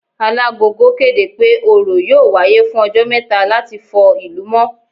Alagogo kéde pé Òrò yóò wáyé fún ọjọ́ mẹ́ta láti fọ ìlú mọ́